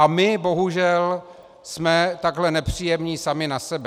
A my bohužel jsme takhle nepříjemní sami na sebe.